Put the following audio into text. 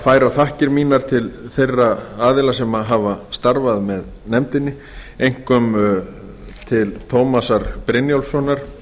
færa þakkir mínar til þeirra aðila sem hafa starfað með nefndinni einkum til tómasar brynjólfssonar